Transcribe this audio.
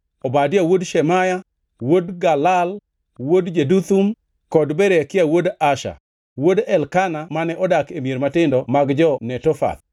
Obadia wuod Shemaya, wuod Galal, wuod Jeduthun; kod Berekia wuod Asa, wuod Elkana mane odak e mier matindo mag jo-Netofath.